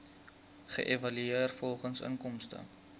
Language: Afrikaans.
geëvalueer volgens inkomste